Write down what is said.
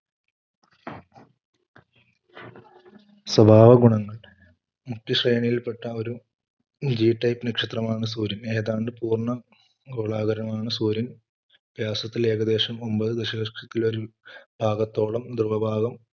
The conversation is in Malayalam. സ്വഭാവഗുണങ്ങൾ മുഖ്യ സേനയിൽപ്പെട്ട ഒരു G type നക്ഷത്രമാണ് സൂര്യൻ ഏതാണ്ട് പൂർണ്ണ ഗോളാകൃതിമാണ്. സൂര്യൻ പ്രത്യാശത്തിൽ ഏകദേശം ഒൻപത് ദേശലക്ഷകിലോ പാകത്തോളം ധ്രുവപാദം,